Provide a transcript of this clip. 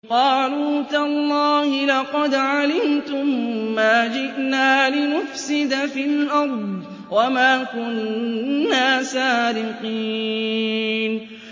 قَالُوا تَاللَّهِ لَقَدْ عَلِمْتُم مَّا جِئْنَا لِنُفْسِدَ فِي الْأَرْضِ وَمَا كُنَّا سَارِقِينَ